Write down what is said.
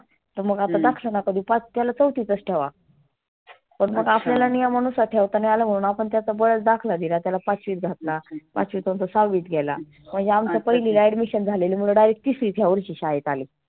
तर मग आता दक्ष ला आता तर त्याला चौथीतच ठेवा. पण आता आपल्याला नियमानुसार ठेवता नाही आलं आपण त्याचा बळच दाखला दिला त्याला पाचवित घातला पाचवितून तो सहावीत गेला. मग हे आमच पहिलीला admission झालेलं मुलं direct तिसरीत ह्या वर्षी शाळेत आले.